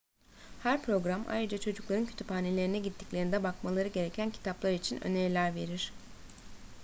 her program ayrıca çocukların kütüphanelerine gittiklerinde bakmaları gereken kitaplar için öneriler verir